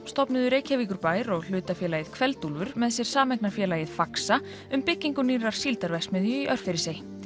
stofnuðu Reykjavíkurbær og hlutafélagið Kveldúlfur með sér sameignarfélagið faxa um byggingu nýrrar síldarverksmiðju í Örfirisey